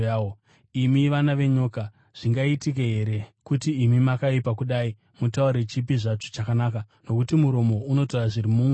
Imi vana venyoka, zvingaitike here kuti imi makaipa kudai mutaure chipi zvacho chakanaka? Nokuti muromo unotaura zviri mumwoyo.